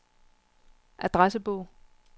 adressebog